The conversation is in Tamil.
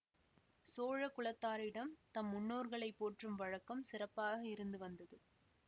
சோழ குலத்தாரிடம் தம் முன்னோர்களைப் போற்றும் வழக்கம் சிறப்பாக இருந்து வந்தது